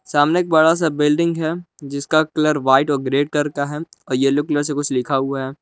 सामने एक बड़ा सा बिल्डिंग है जिसका कलर व्हाइट और ग्रे करके का है और येलो कलर से कुछ लिखा हुआ है।